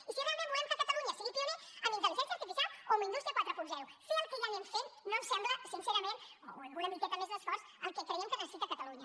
i si realment volem que catalunya sigui pionera amb intel·ligència artificial o amb indústria quaranta fer el que ja anem fent no ens sembla sincerament o amb una miqueta més d’esforç el que creiem que necessita catalunya